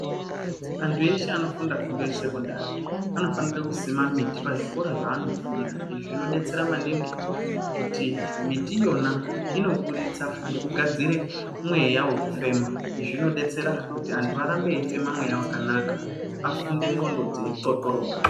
Antu ese anofunda fundo yesekondari, anofanire kusima miti pazvikora zveanofunda. Izvi zvinodetsera maningi, kuti miti iyona inoburitsa, nekugadzire mweya wekufema. Izvi zvinodetsera kuti antu arambe eifema mweya wakanaka, afunde ndxondo dzeixoxoroka.